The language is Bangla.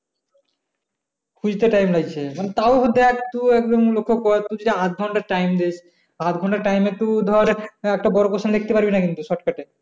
খুজতে time লাগছে এখন তাউ যদি একটু এখন আধঘন্টা time দেয়, আধ ঘন্টা time একটু ধর একটা বড় question লিখতে পারবি না কিন্তু shortcut এ